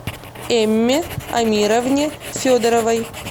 эмме амировне федоровой